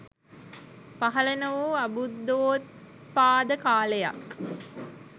පහළ නොවූ අබුද්ධෝත්පාද කාලයක්.